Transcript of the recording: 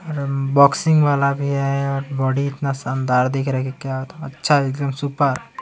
boxing वाला भी है और बॉडी इतना शानदार दिख रहा है की क्या अच्छा एकदम सुपर --